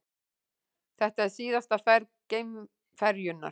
Þetta er síðasta ferð geimferjunnar